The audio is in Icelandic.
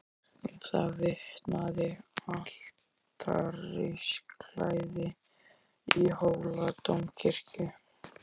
Um það vitnaði altarisklæðið í Hóladómkirkju.